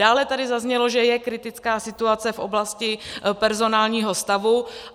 Dále tady zaznělo, že je kritická situace v oblasti personálního stavu.